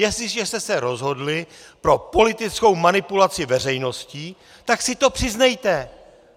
Jestliže jste se rozhodli pro politickou manipulaci veřejnosti, tak si to přiznejte!